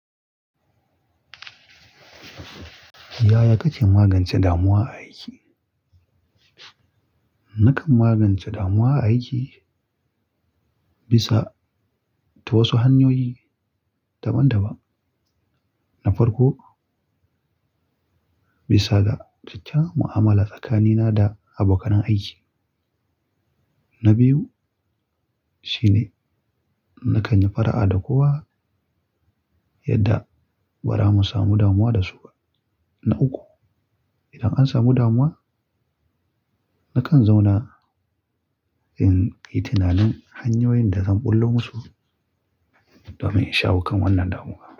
Yaya kake magance damuwa a aiki? Nakan magance damuwa a aiki bisa ta wasu hanyoyi daban-daban. Na farko, bisa ga kyakkyawan mu'amala tsakanina da abokan aiki. Na biyu shine na kan yi fara'a da kowa yadda ba za mu samu damuwa da su ba. Na uku, idan an samu damuwa, na kan zauna in yi tunanin hanyoyin da zan ɓullo musu domin in shawo kan wannan damuwa.